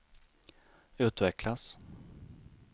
utvecklas